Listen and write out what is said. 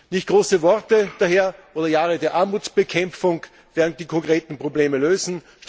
Nicht große Worte oder Jahre der Armutsbekämpfung werden die konkreten Probleme lösen.